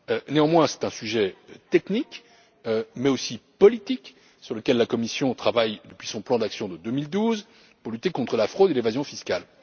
Néanmoins, il s'agit d'un sujet technique mais aussi politique sur lequel la Commission travaille depuis son plan d'action de 2012 pour lutter contre la fraude et l'évasion fiscales.